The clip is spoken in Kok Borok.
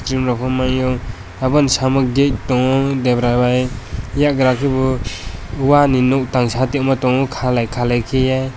gym rok nugmaio obo ni samuk dei tongo debra bai eiagra ke bo wahh ni nuk tan satima tong kaleg kaleg kaie.